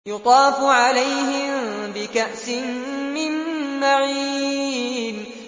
يُطَافُ عَلَيْهِم بِكَأْسٍ مِّن مَّعِينٍ